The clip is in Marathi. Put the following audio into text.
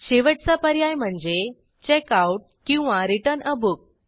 शेवटचा पर्याय म्हणजे checkoutरिटर्न आ बुक